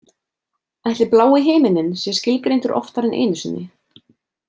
Ætli blái himininn sé skilgreindur oftar en einu sinni?